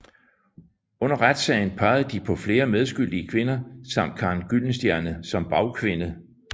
Under retssagen pegede de på flere medskyldige kvinder samt Karen Gyldenstierne som bagkvinde